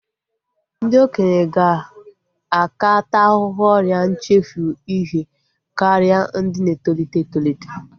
Ndị okenye ga-aka taa ahụhụ ọrịa nchefu ihe karịa ndị na-etolite etolite